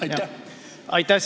Aitäh!